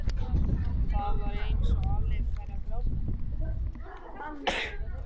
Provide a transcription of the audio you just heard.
Það var eins og Halli væri að fara að gráta.